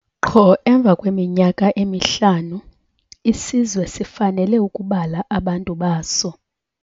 Qho emva kweminyaka emihlanu isizwe sifanele ukubala abantu baso.